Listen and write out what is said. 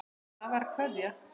Það var Kveðja.